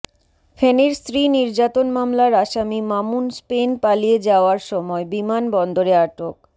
ফেনীর স্ত্রী নির্যাতন মামলার আসামী মামুন স্পেন পালিয়ে যাওয়ার সময় বিমান বন্দরে আটক